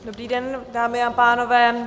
Dobrý den dámy a pánové.